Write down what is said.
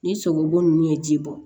Ni sogobu ninnu ye ji bɔ